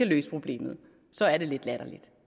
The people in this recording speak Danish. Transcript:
løse problemet så er det lidt latterligt